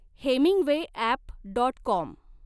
Hemingway app dot com.